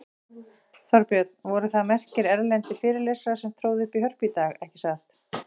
Þorbjörn, það voru merkir erlendir fyrirlesarar sem tróðu upp í Hörpu í dag, ekki satt?